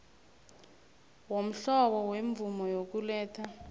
womhlobo wemvumo yokuletha